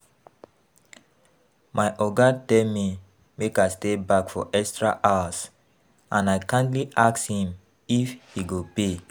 My Oga tell me make I stay back for extra hours and I kindly ask him if he go pay